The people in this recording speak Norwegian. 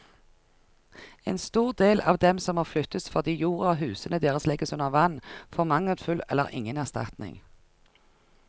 En stor del av dem som må flyttes fordi jorda og husene deres legges under vann, får mangelfull eller ingen erstatning.